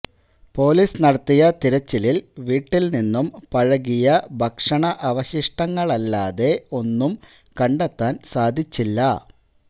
police നടത്തിയ തിരച്ചിലില് വീട്ടില് നിന്നും പഴകിയ ഭക്ഷണ അവശിഷ്ടങ്ങളല്ലാതെ ഒന്നും കണ്ടെത്താന് സാധിച്ചില്ല